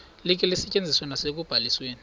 likhe lisetyenziswe nasekubalisweni